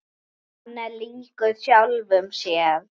Hann er líkur sjálfum sér.